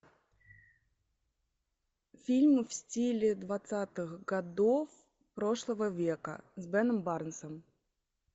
фильм в стиле двадцатых годов прошлого века с беном барнсом